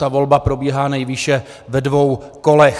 Ta volba probíhá nejvýše ve dvou kolech.